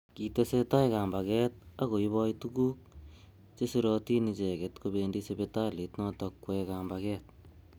Kitesetai kambaget ak koiboi tukuk chesirotin icheket kobendi sipitalit notok kwoe kambaget.